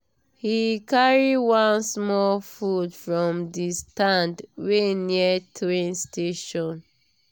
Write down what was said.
he carry one small food from the stand wey near train station.